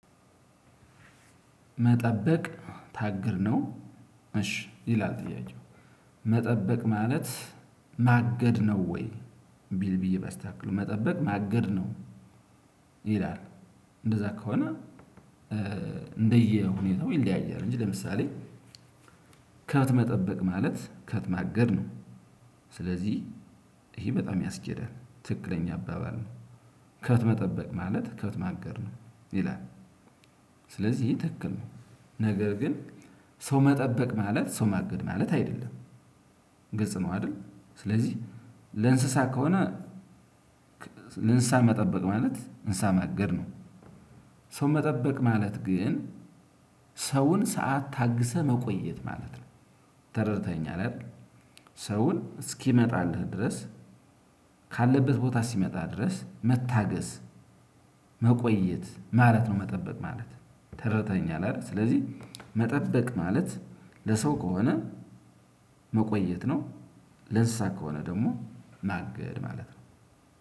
መጠበቅ ታግር ነው። እሺ ይላል ጥያቄው። መጠበቅ ማለት ማገድ ነው ወይ? ቢል ቢዬ ባስተካክለው መጠበቅ ማገድ ነው። ይላል እንደዛ ከሆነ። እንደየሁኔታው ይለያያል እንጂ ለምሳሌ። ከብት መጠበቅ ማለት ከብት ማገድ ነው። ስለዚህ ይሄ በጣም ያስኬዳል ትክክለኛ አባባል ነው። ከብት መጠበቅ ማለት ከብት ማገድ ነው ይላል። ስለዚህ ይሄ ትክክል ነው። ነገር ግን ሰው መጠበቅ ማለት ሰው ማገድ ማለት አይደለም። ግልጽ ነው አይደል? ስለዚህ ለእንስሳ ከሆነ። ለእንስሳ መጠበቅ ማለት እንስሳ ማገድ ነው። ሰው መጠበቅ ማለት ግን ሰውን ሰዓት ታግሰህ መቆየት ማለት ነው። ተረድተኸኛል አይደል? ሰውን እስኪመጣልህ ድረስ። ካለበት ቦታ ሲመጣ ድረስ መታገስ። መቆየት ማለት ነው። መጠበቅ ማለት ተረድተኸኛል አይደል? ስለዚህ መጠበቅ ማለት ለሰው ከሆነ። መቆየት ነው። ለእንስሳ ከሆነ ደግሞ ማገድ ማለት ነው።